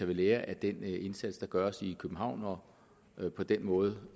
ved lære af den indsats der gøres i københavn og på den måde